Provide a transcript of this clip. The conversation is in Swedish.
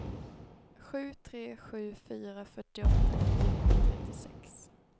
sju tre sju fyra fyrtioåtta niohundratrettiosex